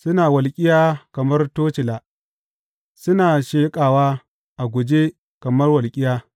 Suna walƙiya kamar tocila suna sheƙawa a guje kamar walƙiya.